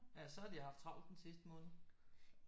Ja så har de haft travlt den sidste måned